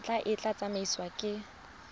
ntlha e tla tsamaisiwa ke